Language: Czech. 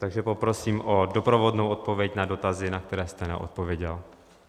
Takže poprosím o doprovodnou odpověď na dotazy, na které jste neodpověděl.